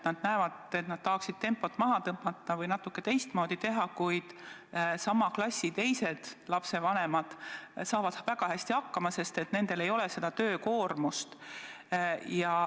Nad näevad, et nad tahaksid tempot maha tõmmata või natuke teistmoodi teha, kuid sama klassi teised lapsevanemad saavad väga hästi hakkama, sest nendel ei ole suurt koduse töö koormust.